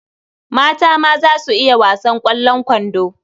Mata ma za su iya wasan ƙwallon kwando.